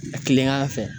A kilen an fɛ